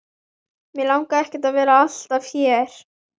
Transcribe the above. Mig langar ekki að vera alltaf hér.